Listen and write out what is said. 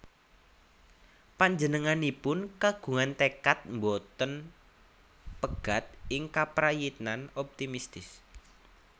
Panjenenganipun kagungan tekad boten pegat ing kaprayitnan optimistis